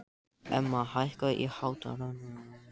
Emma, hækkaðu í hátalaranum.